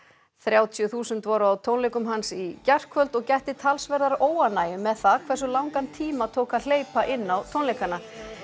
þrjátíu þúsund voru á tónleikum hans í gærkvöld og gætti talsverðar óánægju með það hversu langan tíma tók að hleypa inn á tónleikana